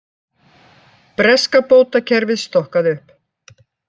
Breska bótakerfið stokkað upp